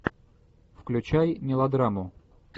включай мелодраму